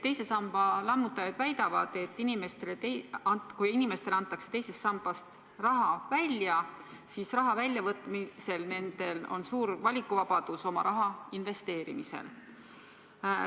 Teise samba lammutajad väidavad, et kui inimestele antakse teisest sambast raha välja, siis tekib nendel suur vabadus oma raha investeerida.